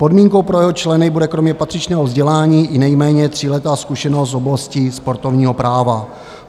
Podmínkou pro jeho členy bude kromě patřičného vzdělání i nejméně tříletá zkušenost z oblasti sportovního práva.